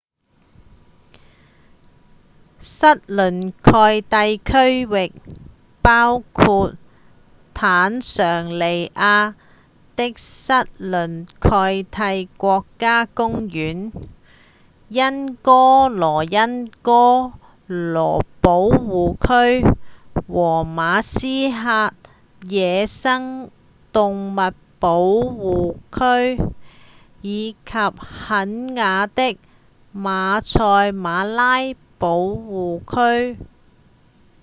塞倫蓋蒂區域包括坦尚尼亞的塞倫蓋蒂國家公園、恩戈羅恩戈羅保護區和馬斯瓦野生動物保護區以及肯亞的馬賽馬拉保護區